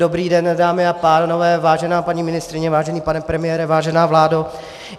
Dobrý den, dámy a pánové, vážená paní ministryně, vážený pane premiére, vážená vládo.